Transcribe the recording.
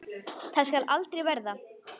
Það skal aldrei verða!